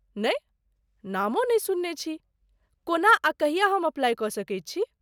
नै ,नामो नहि सुनने छी। कोना आ कहिया हम अप्लाई क सकैत छी ?